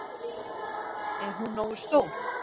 Er hún nógu stór?